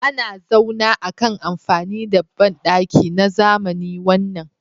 Ana zauna akan amfani da bandaki na zamani wannan